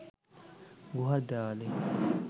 গুহার দেয়ালে